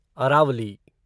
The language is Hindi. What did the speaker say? अरावली